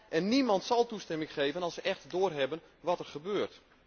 En niemand zal toestemming geven als ze echt doorhebben wat er gebeurt.